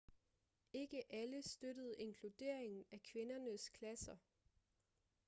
ikke alle støttede inkluderingen af kvindernes klasser